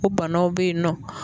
O banaw be yen nɔ.